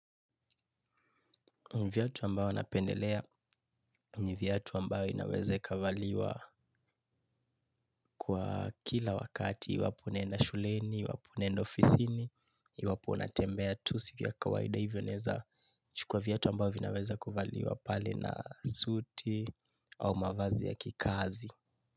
Ni viatu ambayo napendelea, ni viatu ambayo inawezakavaliwa kwa kila wakati, iwapo unaenda shuleni, iwapo unaenda ofisini, iwapo unatembea tu si vya kawaida hivyo naeza chukua viatu ambavyo vinaweza kuvaliwa pale na suti au mavazi ya kikazi.